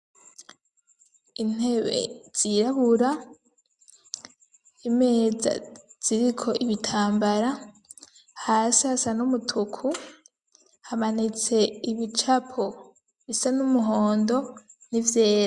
Intebe zirabura, imeza ziriko ibitambara, hasi hasa n'umutuku, hamanitse ibicapo, bisa n'umuhondo, n'ivyera.